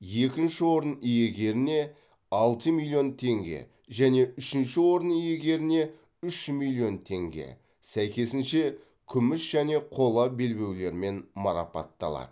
екінші орын иегеріне алты миллион теңге және үшінші орын иегеріне үш миллион теңге сәйкесінше күміс және қола белбеулермен марапатталады